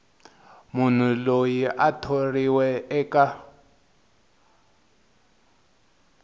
munhu loyi a thoriweke eka